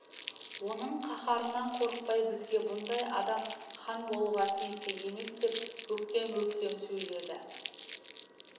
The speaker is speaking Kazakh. оның қаһарынан қорықпай бізге бұндай адам хан болуға тиісті емес деп өктем-өктем сөйледі